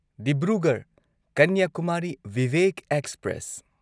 Dibrugarh Kanyakumari Vivek express